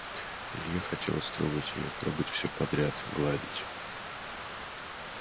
илье хотелось трогать её трогать всё подряд гладить